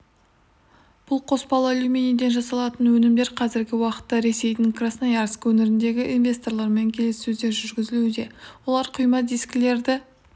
-бұл қоспалы алюминийден жасалатын өнімдер қазіргі уақытта ресейдің красноярск өңіріндегі инвесторлармен келіссөздер жүргізілуде олар құйма дискілерді